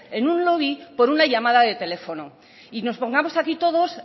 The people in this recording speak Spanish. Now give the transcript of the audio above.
en un lobby por una llamada de teléfono y nos pongamos aquí todos